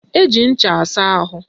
Eji ncha asa ahụ